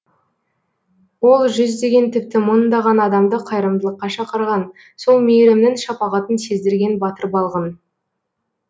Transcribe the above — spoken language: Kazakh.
ол жүздеген тіпті мыңдаған адамды қайырымдылыққа шақырған сол мейірімнің шапағатын сездірген батыр балғын